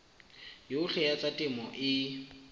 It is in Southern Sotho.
yohle ya tsa temo e